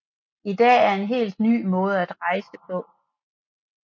I dag er det en helt ny måde at rejse på